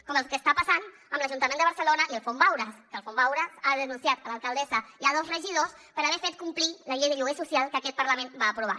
com el que està passant amb l’ajuntament de barcelona i el fons vauras que el fons vauras ha denunciat l’alcaldessa i dos regidors per haver fet complir la llei de lloguer social que aquest parlament va aprovar